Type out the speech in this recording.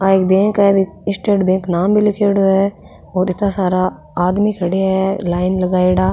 आ एक बैंक है स्टेट बैंक नाम भी लीखेड़ो है और इत्ता सारा आदमी खड़िया है लाइन लगायेडा।